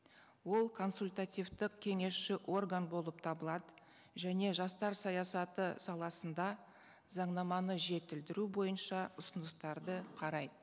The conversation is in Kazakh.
ол консультативтік кеңесші орган болып табылады және жастар саясаты саласында заңнаманы жетілдіру бойынша ұсыныстарды қарайды